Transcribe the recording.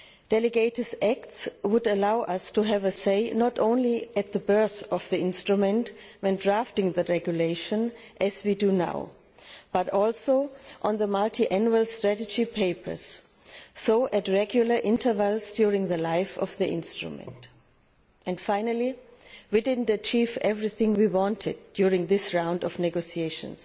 Delegated acts would allow us to have a say not only at the birth of the instrument when drafting the regulation, as we do now, but also on the multiannual strategy papers and thus at regular intervals during the life of the instrument. Finally, we did not achieve everything we wanted during this round of negotiations,